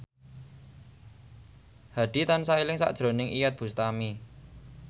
Hadi tansah eling sakjroning Iyeth Bustami